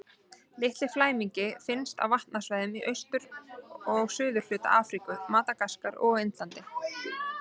Litli flæmingi finnst á vatnasvæðum í austur- og suðurhluta Afríku, Madagaskar og á Indlandi.